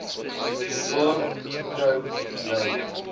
mekaar getrou bly